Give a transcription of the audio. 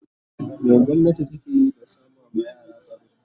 me gwamnati takeyi da sama ma yara tsaro